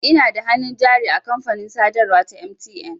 Ina da hannun jari a kamfanin sadarwa ta MTN.